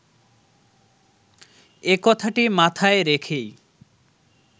এ কথাটি মাথায় রেখেই